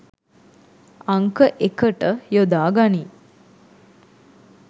අංක එකට යොදා ගනී